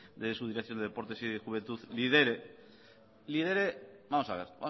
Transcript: de su dirección de deportes y juventud lidere lidere vamos a ver